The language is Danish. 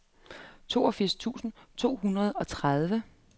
toogfirs tusind otte hundrede og tredive